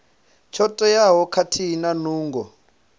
tsho teaho khathihi na nungo